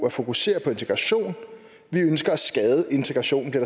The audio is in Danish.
at fokusere på integrationen vi ønsker at skade integrationen det